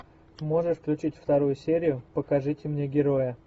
можешь включить вторую серию покажите мне героя